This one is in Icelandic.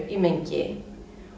í mengi